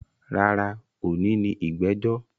Rárá, òní ni ìgbẹ́jọ́